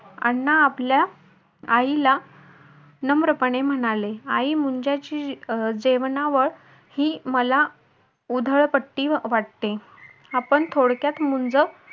अण्णा आपल्या आईला नम्रपणे म्हणाले, आई मुंजाची जेवणावळ ही मला उधळपट्टी वाटते. आपण थोडक्यात मुंज